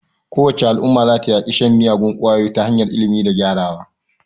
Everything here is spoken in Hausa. Kowace Al'umma za ta yaƙi shan miyagun kwayoyi ta hanyar ilimi da gyarawa.